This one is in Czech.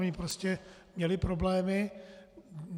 Oni prostě měli problémy.